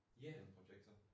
Ja